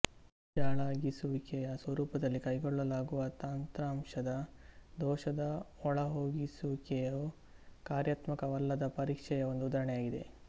ಜಾಳಾಗಿಸುವಿಕೆಯ ಸ್ವರೂಪದಲ್ಲಿ ಕೈಗೊಳ್ಳಲಾಗುವ ತಂತ್ರಾಂಶದ ದೋಷದ ಒಳಹೊಗಿಸುವಿಕೆಯು ಕಾರ್ಯತ್ಮಕವಲ್ಲದ ಪರೀಕ್ಷೆಯ ಒಂದು ಉದಾಹರಣೆಯಾಗಿದೆ